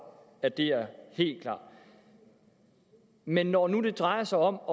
at det er helt klart men når nu det drejer sig om